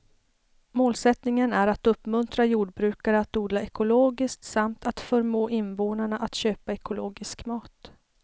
Målsättningen är att uppmuntra jordbrukare att odla ekologiskt samt att förmå invånarna att köpa ekologisk mat.